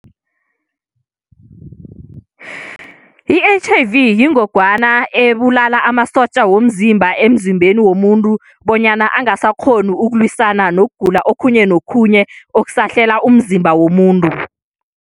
I-H_I_V yingogwana ebulala amasotja womzimba emzimbeni womuntu, bonyana angasakghoni ukulwisana nokugula okhunye nokhunye okusahlela umzimba womuntu.